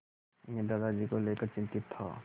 मैं दादाजी को लेकर चिंतित था